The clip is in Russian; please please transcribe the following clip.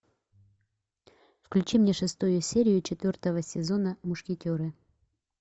включи мне шестую серию четвертого сезона мушкетеры